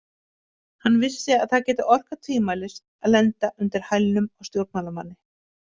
Hann vissi að það gæti orkað tvímælis að lenda undir hælnum á stjórnmálamanni.